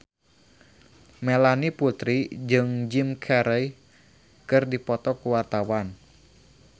Melanie Putri jeung Jim Carey keur dipoto ku wartawan